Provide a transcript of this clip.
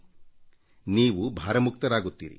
ಆಗ ನೀವೂ ಭಾರ ಮುಕ್ತರಾಗುತ್ತೀರಿ